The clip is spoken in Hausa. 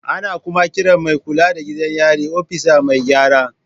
Ana kuma kiran mai kula da gidan yari opisa Mai gyara.